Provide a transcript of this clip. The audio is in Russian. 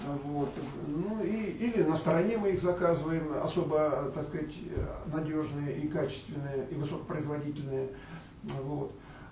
а вот ну и или на стороне мы их заказываем особо так сказать надёжные и качественные и высокопроизводительные ну вот